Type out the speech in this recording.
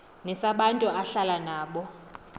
nesabantu ahlala nabo